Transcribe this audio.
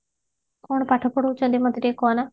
କଣ ପାଠ ପଢଉଛନ୍ତି ମତେ ଟିକେ କହିଲ